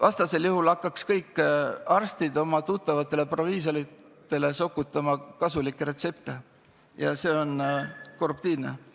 Vastasel juhul hakkaks kõik arstid patsientidele välja kirjutama oma tuttavatele proviisoritele kasulikke retsepte ja see oleks korruptiivne.